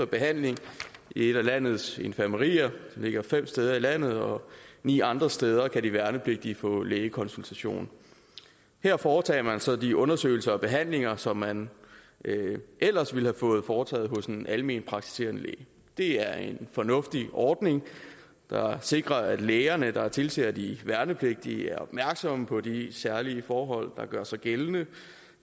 behandling i et af landets infirmerier de ligger fem steder i landet og ni andre steder kan de værnepligtige få lægekonsultation her foretages så de undersøgelser og behandlinger som man ellers ville have fået foretaget hos en almenpraktiserende læge det er en fornuftig ordning der sikrer at lægerne der tilser de værnepligtige er opmærksomme på de særlige forhold der gør sig gældende